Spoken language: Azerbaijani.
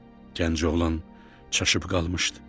Gənc oğlan çaşıb qalmışdı.